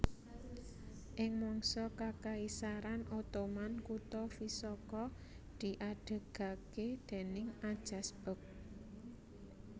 Ing mangsa Kakaisaran Ottoman kutha Visoko diadegaké déning Ajas beg